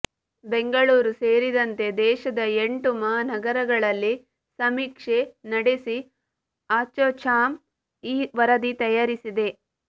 ಬೆಂಗಳೂರು ಸೇರಿದಂತೆ ದೇಶದ ಎಂಟು ಮಹಾನಗರಗಳಲ್ಲಿ ಸಮೀಕ್ಷೆ ನಡೆಸಿ ಆಸೋಚಾಮ್ ಈ ವರದಿ ತಯಾರಿಸಿದೆ